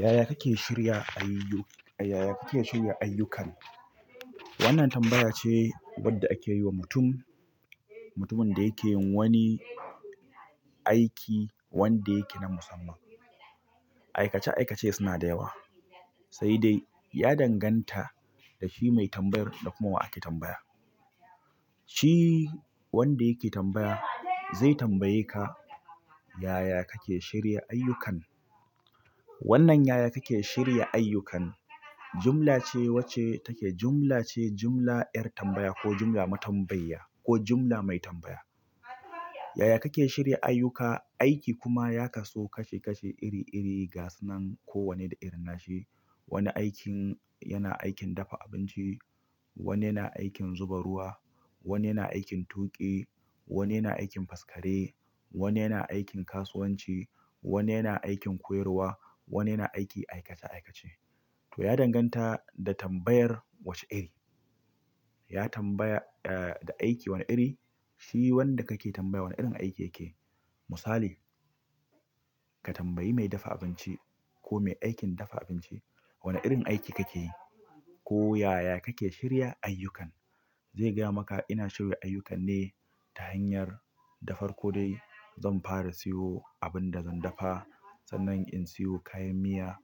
Yaya kake shirya ayyuk-- yaya kake shirya ayyukan? Wannan tambaya ce wadda ake yi wa mutum, mutumin da yake yin wani aik, i wanda yake na musamman. Aikace aikace suna da yawa, sai dai ya danganta da shi mai tambayar da kuma wa ake tambaya. Shi, wanda yake tambaya zai tambaye ka, "Yaya kake shirya ayyukan?" Wannan yaya kake shirya ayyukan, jumla ce wacce take, jumla ce, jumla 'yar tambaya ko jumla matambayya ko jumla mai tambaya. Yaya kake shirya ayyuka, aiki kuma ya kaso kashe kashe iri iri ga sunan ko wanne da irin nashi. Wani aikin yana aikin dafa abinci, wani yana aikin zuba ruwa, wani yana aikin tuƙi, wani yana aikin faskare, wani yana aikin kasuwanci, wani yana aikin koyarwa, wani yana aiki aikace aikace. To ya danganta, da tambayar wace iri ya tambaya, eh, da aiki wane iri, shi wanda kake tambaya wane irin aiki yake. Misali, ka tambayi mai dafa abinci ko mai aikin dafa abinci, "Wane irin aiki kake yi?" Ko, "Yaya kake shirya ayyukan?" Zai gaya maka, "ina shirya ayyukan ne ta hanyar, dafar ko dai zan fara siyo abin da zan dafa. Sannan in siyo kayan miya,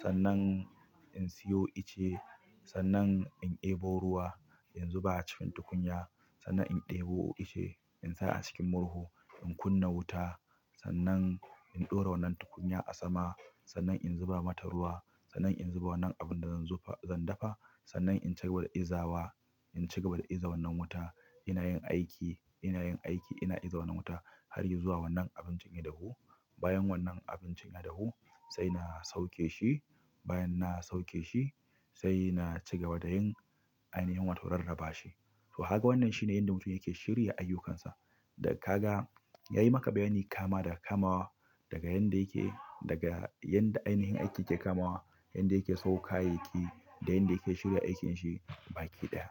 sannan in siyo ice, sannan in e bo ruwa, in zuba a cikin tukunya, sannan in ɗebo ice, in sa a cikin murhu, in kunna wuta. Sannan in ɗora wannan tukunya a sama, sannan in zuba mata ruwa, sannan in zuba wannan abin da zan zuba, zan dafa, sannan in cigaba da inzawa, in cigaba da iza wannan wuta. Ina yin aiki, ina yin aiki, ina iza wannan wuta har ya zuwa wannan abincin ya dahu. Bayan wannan abincin ya dahu, sai na sauke shi. Bayan na sauke shi, sai na, cigaba da yin, ainihin wato rarraba shi." To haka wannan shi ne yanda mutum yake shirya ayyukansa. Daga kaga, yayi maka bayani kama daga kamawa daga yanda yake daga yanda ainihin aikin ke kamawa yanda yake siyo kayi yaki da yanda yake shirya aikinshi baki ɗaya.